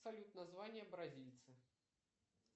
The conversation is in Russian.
салют название бразильца